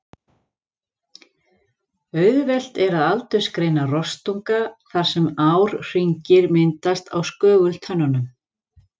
Auðvelt er að aldursgreina rostunga þar sem árhringir myndast á skögultönnunum.